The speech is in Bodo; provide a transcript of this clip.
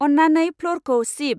अननानै फ्ल'रखौ सिब।